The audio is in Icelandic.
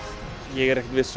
ég er ekkert viss